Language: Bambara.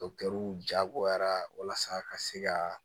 jagoyara walasa ka se ka